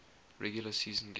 regular season game